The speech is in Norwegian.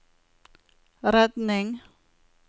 redning